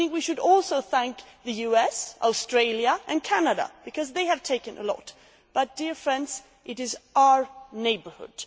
I think we should also thank the US, Australia and Canada, because they have taken a lot but, dear friends, it is our neighbourhood.